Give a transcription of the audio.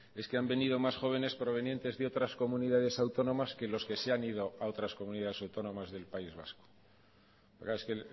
es que han venido más jóvenes provenientes de otras comunidades autónomas que los que se han ido a otras comunidades autónomas del país vasco claro es que